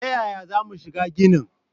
Ta yaya za mu shiga ginin?